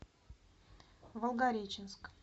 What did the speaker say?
волгореченск